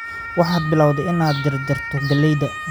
Waxaad bilowday inaad jar jarto galleyda